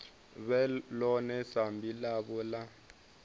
vhe ḽone sambi ḽavho ḽa